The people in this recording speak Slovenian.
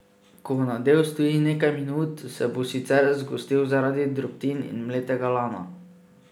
Ko nadev stoji nekaj minut, se bo sicer zgostil zaradi drobtin in mletega lana.